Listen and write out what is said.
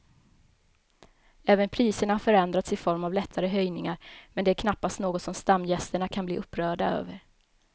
Även priserna har förändrats i form av lättare höjningar men det är knappast något som stamgästerna kan bli upprörda över.